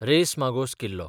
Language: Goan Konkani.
रेस मागोस किल्लो